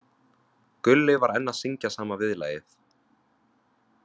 Gulli var enn að syngja sama viðlagið.